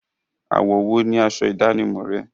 Àwọ̀ wo ni asọ ìdánimọ̀ rẹ?